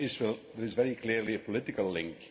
There is very clearly a political link